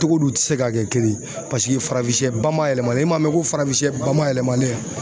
Togo di u tɛ se ka kɛ kelen ye paseke farafinsɛ bamayɛlɛmalen i man mɛn ko farafinsɛ bamayɛlɛmalen ya.